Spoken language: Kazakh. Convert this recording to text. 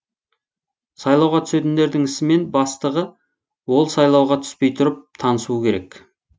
сайлауға түсетіндердің ісімен бастығы ол сайлауға түспей тұрып танысуы керек